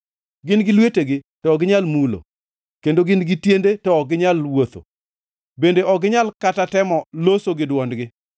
Gin gi lwetegi, to ok ginyal mulo, kendo gin gi tiende to ok ginyal wuotho, bende ok ginyal kata temo loso gi dwondgi.